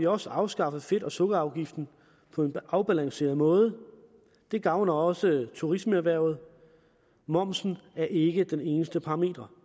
også afskaffet fedt og sukkerafgiften på en afbalanceret måde det gavner også turismeerhvervet momsen er ikke den eneste parameter